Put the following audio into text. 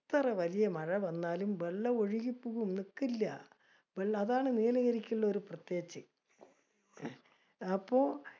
എത്ര വലിയ മഴ വന്നാലും വെള്ളം ഒഴുകി പൂവും. നിക്കില്യ. വെള്ളം അതാണ് നീലഗിരിക്കുള്ളൊരു പ്രത്യേജ്ജ്. അപ്പൊ